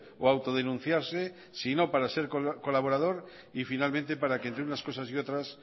o autodenunciarse sino para ser colaborador y finalmente para que entre unas cosas y otras